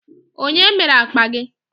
Onye mere akpa gi?